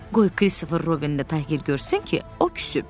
Qoy Kristofer Robinin də Tayger görsün ki, o küsüb.